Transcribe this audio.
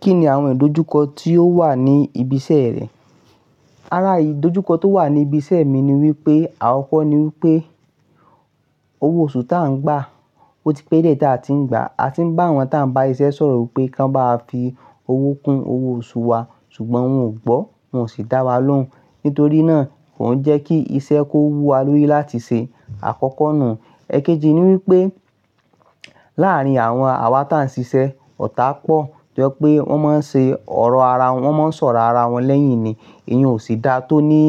Kí ni àwọn ìdojúkọ tí ó wà ní ibi iṣẹ́ rẹ? Ara ìdojúkọ tó wà ní ibi iṣẹ́ mi ni wípé àkọ́kọ́ ni wípé owó oṣù ta ń gbà, ó ti pé dié táì tí ń gbà. A ti ń bá àwọn ta ń bá iṣẹ́ sọ̀rọ̀ pé kó bá fi owó kún owó oṣù wa ṣùgbọ́n wọ́n ò gbọ́, wọ́n ò sì dá wa lóhùn. Nítorí náà, òún jẹ́ kí iṣẹ́ kó wú wa lórí láti ṣe àkọ́kọ́ nù. Ẹ̀kéjì ni wípé láàrín àwọn àwa tí a ń ṣiṣẹ́, ọ̀tá pọ̀ tó jẹ́ pé wọ́n máa ń ṣe ọ̀rọ̀ ara wọn, wọ́n máa ń sọ̀rọ̀ ara wọn lẹ́yìn ni, èyí ń ò sì dáa tó ní